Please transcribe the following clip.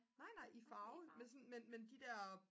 nej nej i farve men sådan de der